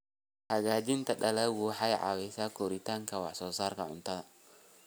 Hagaajinta dalaggu waxay caawisaa kordhinta wax soo saarka cuntada.